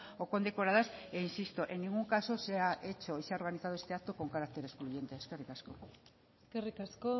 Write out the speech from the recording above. o condecoradas e insisto en ningún caso se ha hecho y se ha organizado este acto con carácter excluyente eskerrik asko eskerrik asko